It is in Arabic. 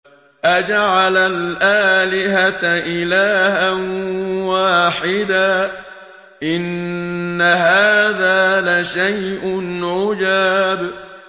أَجَعَلَ الْآلِهَةَ إِلَٰهًا وَاحِدًا ۖ إِنَّ هَٰذَا لَشَيْءٌ عُجَابٌ